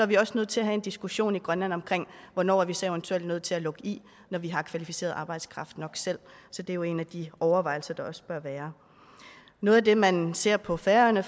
vi også nødt til at have en diskussion i grønland om hvornår vi så eventuelt er nødt til at lukke i når vi har kvalificeret arbejdskraft nok selv så det er jo en af de overvejelser der også bør være noget af det man ser på færøerne